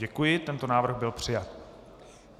Děkuji, tento návrh byl přijat.